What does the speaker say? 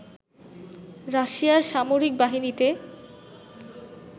রাশিয়ার সামরিক বাহিনীতে